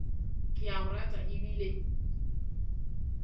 ke a go rata ebile